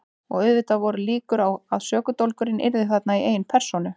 Og auðvitað voru líkur á að sökudólgurinn yrði þarna í eigin persónu.